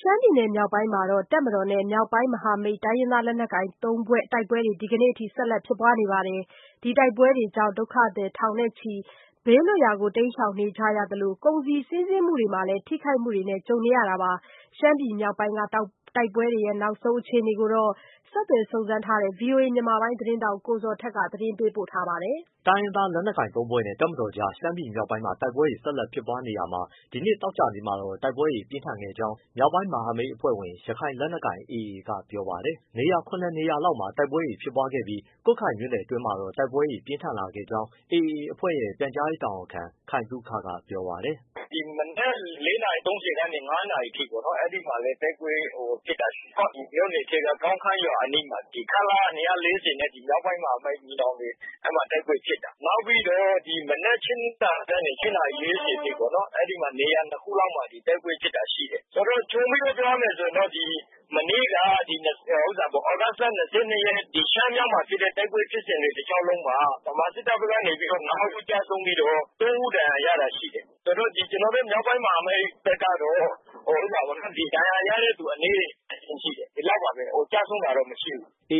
ရှမ်းပြည်မြောက်ပိုင်းမှာ တပ်မတော်နဲ့ မြောက်ပိုင်းမဟာမိတ် လက်နက်ကိုင်သုံးဖွဲ့ကြား တိုက်ပွဲတွေ ဒီနေ့ထိ ဆက်လက်ဖြစ်ပွားနေပါတယ်။ တိုက်ပွဲတွေကြောင့် ဒုက္ခသည်ထောင်နဲ့ချီပြီး ဘေးလွတ်ရာ တိမ်းရှောင်နေရသလို ကုန်စည်စီးဆင်းမှုတွေမှာလည်း ထိခိုက်မှုတွေ ကြုံနေရတာပါ။ ရှမ်းပြည် မြောက်ပိုင်းက တိုက်ပွဲတွေ နောက်ဆုံးအခြေအနေကိုတော့ ဆက်သွယ်စုံစမ်းထားတဲ့ ဗွီအိုအေ မြန်မာပိုင်းသတင်းထောက် ကိုဇော်ထက် သတင်းပေးပို့ထားပါတယ်။ တိုင်းရင်းသားလက်နက်ကိုင် တပ်ဖွဲ့ ၃ ဖွဲ့နဲ့ တပ်မတော်ကြား ရှမ်းပြည်မြောက်ပိုင်းမှာ တိုက်ပွဲတွေ ဆက်လက်ဖြစ်ပွားနေရာမှာ ဒီနေ့ သောကြာနေ့မှာတော့ တိုက်ပွဲတွေ ပြင်းထန်ခဲ့ကြောင်း မြောက်ပိုင်း မဟာမိတ်အဖွဲ့ဝင် ရခိုင်လက်နက်ကိုင် AA ကပြောပါတယ်။ နေရာ ၇ နေရာလောက်မှာ တိုက်ပွဲတွေ ဖြစ်ပွားခဲ့ပြီး ကွတ်ခိုင်မြို့နယ်တွင်းမှာတော့ တိုက်ပွဲတွေ ပြင်းထန်ခဲ့ကြောင်းလည်း AA အဖွဲ့ ပြန်ကြားရေးတာဝန်ခံ ခိုင်သုခကပြောပါတယ်။ “ဆိုတော့ ခြုံပြီးတော့ ပြောရမယ်ဆိုရင် မနေ့က သြဂုတ်လ ၂၂ ရက် ရှမ်းမြောက်မှာဖြစ်တဲ့ တိုက်ပွဲ ဖြစ်စဉ်တွေတလျှောက်လုံးမှာ ဗမာစစ်တပ်ဘက်ကနေ ၅ ဦးကျဆုံးပြီးတော့ ၃ ဦး ဒဏ်ရာရတာရှိတယ်။ ကျနော်တို့ မြောက်ပိုင်းမဟာမိတ်ဘက်ကတော့ ဒဏ်ရာရတဲ့သူအနည်းအကျဉ်းရှိတယ် ဒီလောက်ပါပဲ။ ကျဆုံးတာတော့မရှိဘူး။” ဒီ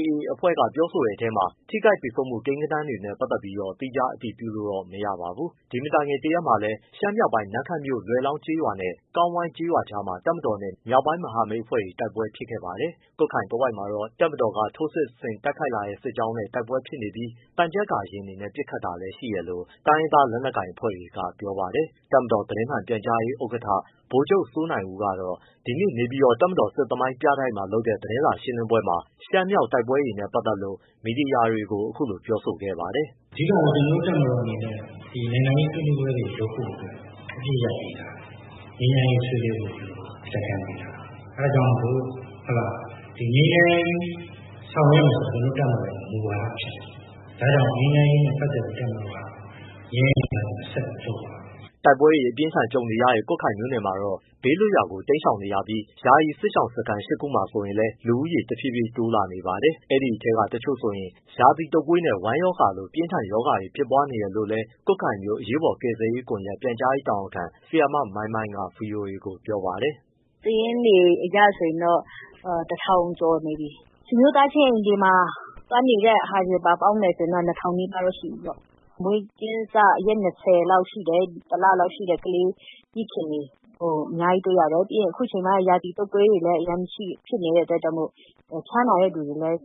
မတိုင်ခင် တရက်မှာလည်း ရှမ်းမြောက်ပိုင်း နမ့်ခမ်းမြို့ လွယ်လောင်းကျေးရွာနဲ့ ကောင်းဝိုင်းကျေးရွာ ကြားမှာ တပ်မတော်နဲ့ မြောက်ပိုင်းမဟာမိတ်တွေ တိုက်ပွဲဖြစ်ခဲ့ပါတယ်။ ကွတ်ခိုင်တဝိုက်မှာ တပ်မတော်က ထိုးစစ်ဆင်တိုက်ခိုက်လာတဲ့စစ်ကြောင်းနဲ့ တိုက်ပွဲဖြစ်ပြီး သံချပ်ကာယာဉ်နဲ့ ပစ်ခတ်တာ လည်းရှိတယ်လို့ တိုင်းရင်းသားလက်နက်ကိုင်အဖွဲ့တွေက ပြောပါတယ်။ တပ်မတော် သတင်းမှန်ပြန်ကြားရေးဥက္ကဋ္ဌ ဗိုလ်ချုပ်စိုးနိုင်ဦးကတော့ နေပြည်တော်၊ တပ်မတော် စစ်သမိုင်းပြတိုက်မှာ ဒီနေ့လုပ်တဲ့ သတင်းစာရှင်းလင်းပွဲမှာ ရှမ်းမြောက်တိုက်ပွဲတွေနဲ့ပတ်သက်လို့ မီဒီယာတွေကို အခုလို ပြောဆိုခဲ့ပါတယ်။ “အဓိကတော့ ကျနော်တို့တပ်မတော်အနေနဲ့ နိုင်ငံရေးဆွေးနွေးပွဲတွေ လုပ်ဖို့အတွက် အပစ်ရပ်ပေးထား တယ်၊ ငြိမ်းချမ်းရေးဆွေးနွေးပွဲလုပ် လက်ကမ်းပေးထားတယ်၊ အဲဒါကြောင့်မို့ ငြိမ်းချမ်းရေးဆောင်ရွက် မယ်ဆိုတာ ကျနော်တို့တပ်မတော်ရဲ့မူဝါဒဖြစ်တယ်။ ဒါကြောင့် ငြိမ်းချမ်းရေးနဲ့ပတ်သက်လို့ တပ်မတော် က ငြိမ်းချမ်းရေးလုပ်ငန်းစဉ် ဆက်လုပ်သွားမယ်။” တိုက်ပွဲတွေ အပြင်းအထန် ကြုံခဲ့ရတဲ့ ကွတ်ခိုင်မြို့နယ်မှာတော့ ဒေသခံတွေ ဘေးလွတ်ရာ တိမ်းရှောင် နေကြရပြီး ယာယီစစ်ရှောင်စခန်း ၈ ခုမှာဆိုရင်လည်း လူဦးရေ တဖြည်းဖြည်းတိုးလာနေပါတယ်။ ဒီအထဲက တချို့ဆိုရင် ရာသီတုပ်ကွေးနဲ့ ဝမ်းရောဂါလို ပြင်းထန်ရောဂါတွေ ဖြစ်ပွားနေတယ်လို့လည်း ကွတ်ခိုင်မြို့ အရေးပေါ်ကယ်ဆယ်ရေးကွန်ရက် ပြန်ကြားရေးတာဝန်ခံ ဆရာမ မိုင်းမိုင်းက ဗွီအိုအေကို ပြောပါတယ်။ “စာရင်းတွေအရဆိုရင် ၁,၀၀၀ ကျော်နေပြီ၊ ဆွေမျိုးသားချင်းအိမ်တွေမှာ သွားနေတဲ့သူတွေကိုပါ ပေါင်း မယ်ဆိုရင် ၂,၀၀၀ နီးပါးလောက်ရှိပြီပေါ့။ မွေးကင်းစ ရက် ၂၀ လောက်ရှိတဲ့၊ တလလောက်ရှိတဲ့ ကလေးမိခင်တွေ အများကြီးတွေ့ရတယ်။ ပြီးရင် အခုချိန်မှာ ရာသီတုပ်ကွေးတွေလည်း အရမ်းဖြစ်နေ တဲ့အတွက်ကြောင့်မို့လို့ ဖျားနာတဲ့သူတွေလည်း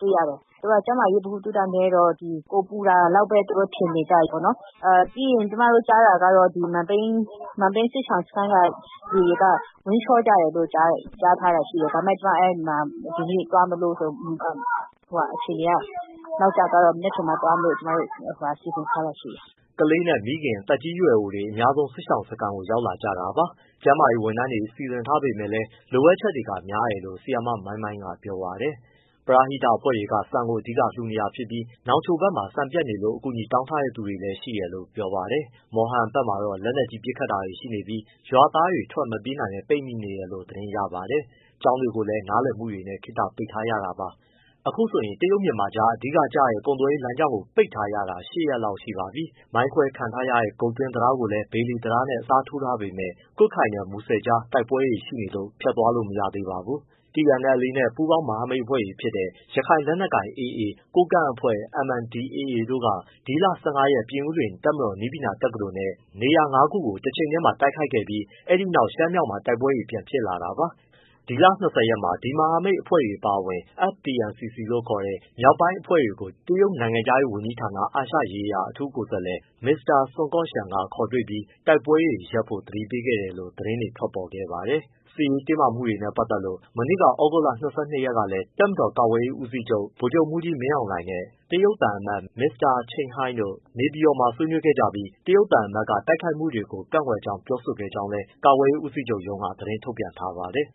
တွေ့ရတယ်။ သူတို့က ကျန်းမာရေး ဗဟုသုတ နည်းတော့ ကိုယ်ပူတာလောက်ပဲ သူတို့ ထင်နေကြတယ်ပေါ့နော်။ ပြီးရင် ကျမတို့ကြားတာက မန်ပိန်း စစ်ရှောင်စခန်းကသူတွေက ဝမ်းလျှောကြတယ်လို့ ကြားထားတာရှိတယ်။ ဒီနေ့သွားမလို့ ဆိုပြီးတော့မှ အခြေအနေက နောက်ကျသွားလို့ မနက်ဖြန်မှသွားမလို့ စီစဉ်ထားတယ်။” ကလေးနဲ့ မိခင်တွေ၊ သက်ကြီးရွယ်အိုတွေ အများဆုံး စစ်ရှောင်စခန်းကို ရောက်တာကြတာပါ။ ကျန်းမာရေးဝန်ထမ်းတွေ စီစဉ်ထားပေမယ့် လိုအပ်ချက်တွေ များတယ်လို့ ဆရာမ မိုင်းမိုင်းက ပြောပါ တယ်။ ပရဟိတအဖွဲ့တွေက ဆန်ကိုအဓိကလှူနေပြီး နောင်ချိုဘက်မှာ ဆန်ပြတ်နေလို့ အကူအညီ တောင်းထားတဲ့သူတွေ ရှိတယ်လို့ပြောပါတယ်။ မော်ဟန်ဘက်မှာတော့ လက်နက်ကြီးနဲ့ ပစ်ခတ်တာ တွေရှိနေပြီး ရွာသားတွေ ထွက်မပြေးနိုင်ဘဲ ပိတ်မိနေတယ်လို့ သတင်းရပါတယ်။ ကျောင်းတွေကို လည်း နားလည်မှုနဲ့ ခနပိတ်ထားရပါတယ်။ အခုဆိုရင် တရုတ်-မြန်မာကြား အဓိကကျတဲ့ ကုန်သွယ်ရေးလမ်းကြောင်းကို ပိတ်ထားတာ ၈ ရက် လောက်ရှိပါပြီ။ မိုင်းခွဲဖျက်စီးခံရတဲ့ ဂုတ်တွင်းတံတားကို ဘေလီတံတားနဲ့ အစားထိုးထားပေမဲ့ ကွတ်ခိုင်နဲ့ မူဆယ်ကြား တိုက်ပွဲတွေရှိနေလို့ ဖြတ်သွားလို့ မရသေးပါဘူး။ TNLA နဲ့ ပူးပေါင်းမဟာမိတ်တွေဖြစ်တဲ့ ရခိုင်လက်နက်ကိုင် AA ၊ ကိုးကန့်အဖွဲ့ MNDAA တို့က ဒီလ ၁၅ ရက်နေ့မှာ ပြင်ဦးလွင် တပ်မတော်နည်းပညာတက္ကသိုလ်နဲ့ နေရာငါးခုကို တချိန်တည်းမှာ တိုက်ခိုက်ခဲ့ ပြီး အဲဒီနောက် ရှမ်းမြောက်မှာ တိုက်ပွဲတွေပြန်ဖြစ်လာတာပါ။ ဒီလ ၂၀ ရက်နေ့မှာ အဲဒီမဟာမိတ်သုံးဖွဲ့အပါအဝင် FPNCC လို့ခေါ်တဲ့ မြောက်ပိုင်းအဖွဲ့တွေကို တရုတ် နိုင်ငံခြားရေးဌာန၊ အာရှရေးရာ အထူးကိုယ်စားလှယ် မစ္စတာဆွန်ကော့ရှန်က ခေါ်ပြီး တိုက်ပွဲတွေရပ်ဖို့ သတိပေးခဲ့တယ်လို့ သတင်းတွေထွက်ပေါ်ခဲ့ပါတယ်။ စစ်ရေးတင်းမာမှုတွေနဲ့ပတ်သက်လို့ မနေ့ သြဂုတ်လ ၂၂ ရက်ကလည်း တပ်မတော် ကာကွယ်ရေး ဦးစီးချုပ် ဗိုလ်ချုပ်မှူးကြီးမင်းအောင်လှိုင်နဲ့ တရုတ်သံအမတ်ကြီး မစ္စတာ Chen Hei တို့ နေပြည်တော် မှာ ဆွေးနွေးခဲ့ကြပြီး တရုတ်သံတမန်က တိုက်ခိုက်မှုတွေကို ကန့်ကွက်တယ်လို့ ပြောဆိုခဲ့ကြောင်း ကာကွယ်ရေးဦးစီးချုပ်ရုံးက သတင်းထုတ်ပြန်ထားပါတယ်